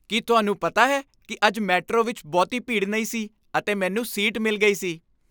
ਕੀ ਤੁਹਾਨੂੰ ਪਤਾ ਹੈ ਕਿ ਅੱਜ ਮੈਟਰੋ ਵਿੱਚ ਬਹੁਤੀ ਭੀੜ ਨਹੀਂ ਸੀ ਅਤੇ ਮੈਨੂੰ ਸੀਟ ਮਿਲ ਗਈ ਸੀ?